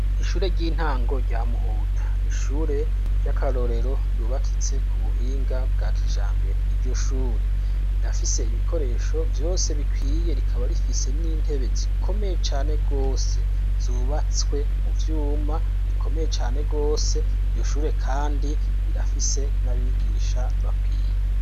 Ishure ry'intango ryamuhuta ni ishure ry'akarorero ryubakitse ku buhinga bwa kijambere iryo shure rirafise ibikoresho vyose bikwiye rikaba rifise n'intebe zikomeye cane rwose zubatswe mu vyuma rikomeye cane rwose iryoshure, kandi rirafise nabigiga igisha bakwiye.